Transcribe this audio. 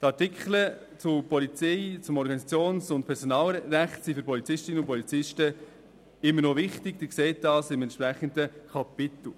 Die Artikel zum Organisations- und Personalrecht sind für Polizistinnen und Polizisten immer noch wichtig, Sie sehen dies im entsprechenden Kapitel.